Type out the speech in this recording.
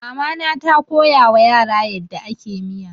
Mama na ta koyawa yara yadda ake miya.